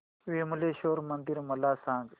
विमलेश्वर मंदिर मला सांग